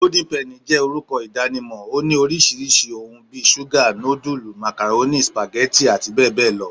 Golden penny jé orúkọ ìdánimọ̀, oní orisirisi òhún bí ṣuga, nudulú, macaroni, spaghetti àti bẹẹ bẹẹ lọ